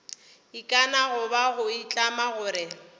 ikana goba go itlama gore